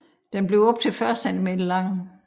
Den bliver op til 40 cm lang